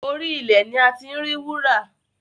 Orí ilẹ̀ ni a ti ń rí wúrà